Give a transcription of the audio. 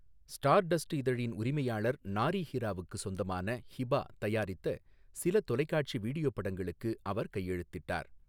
Star dust இதழின் உரிமையாளர் நாரி ஹிராவுக்கு சொந்தமான ஹிபா தயாரித்த சில தொலைக்காட்சி வீடியோ படங்களுக்கு அவர் கையெழுத்திட்டார்.